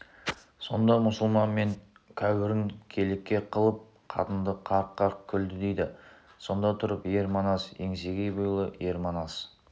сонда мұсылман мен кәуірін келеке қылып қатынды қарқ-қарқ күлді дейді сонда тұрып ер манас еңсегей бойлы ер манас